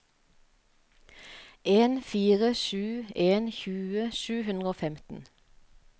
en fire sju en tjue sju hundre og femten